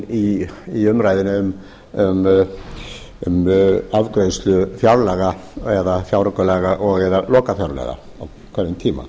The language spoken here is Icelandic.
inn í umræðuna um afgreiðslu fjárlaga eða fjáraukalaga og eða lokafjárlaga á hverjum tíma